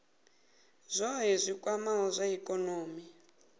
zwohe zwi kwamaho zwa ikonomi